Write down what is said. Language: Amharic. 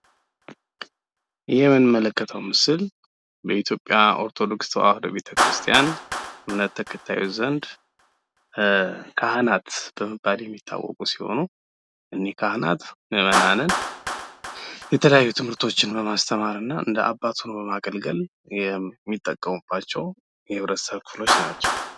ይህ የምንመለከተው ምስል በኢትዮጵያ ኦርቶዶክስ ተዋህዶ ቤተክርስቲያን እምነት ተከታዮች ዘንድ ካህናት በመባል የሚያወቁ ሲሆን ፤ እነዚህ ካህናት ም ምእመናንን የተለያዩ ትምህርቶችን እማስተማርና እንደ አባት ሆኖ በማገልገል የሚጠቀሙባቸው የማህበረሰብ ክፍሎች ናቸው።